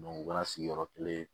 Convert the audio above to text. u kɛra sigiyɔrɔ kelen